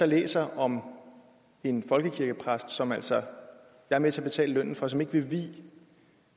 læser om en folkekirkepræst som jeg altså er med til betale lønnen for og som ikke vil vie